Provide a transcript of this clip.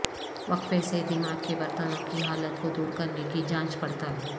وقفے سے دماغ کے برتنوں کی حالت کو دور کرنے کی جانچ پڑتال